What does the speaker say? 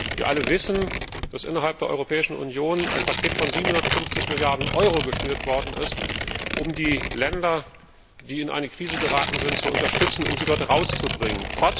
Wir alle wissen, dass innerhalb der Europäischen Union ein Paket von 750 Milliarden Euro geschnürt worden ist, um die Länder, die in eine Krise geraten sind, zu unterstützen und sie dort herauszubringen.